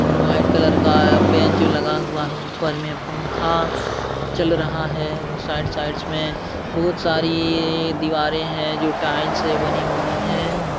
और white colour का bench लगा हुआ है। ऊपर में पंखा चल रहा है और साइड साइड में बहुत सारी दीवारे हैं जो टाइल्स से बनी हुई हैं।